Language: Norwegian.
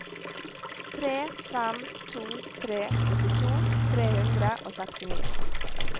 tre fem to tre syttito tre hundre og sekstini